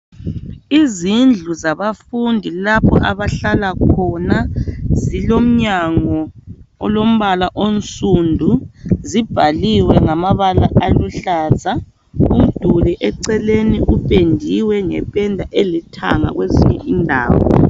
Izindlu zabafundi lapho abahlala khona silomnyango olombala onsundu, zibhaliwe ngamabala aluhlaza umduli eceleni uphendiwe ngephenda elithanga kwezinye indawo.